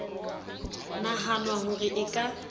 nahanwa ho re e ka